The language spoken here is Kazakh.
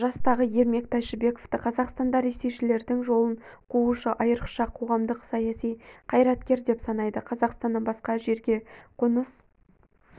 жастағы ермек тайшыбековты қазақстанда ресейшілдердің жолын қуушы айрықша қоғамдық-саяси қайраткер деп санайды қазақстаннан басқа жерге қоныс